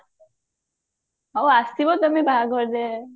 ଆଉ ଆସିବ କେବେ ବାହାଘରେ ରେ